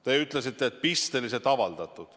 Te ütlesite, et seda on pisteliselt avaldatud.